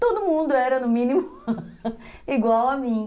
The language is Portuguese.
Todo mundo era, no mínimo, igual a mim.